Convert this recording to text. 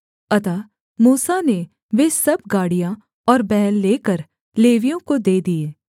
अतः मूसा ने वे सब गाड़ियाँ और बैल लेकर लेवियों को दे दिये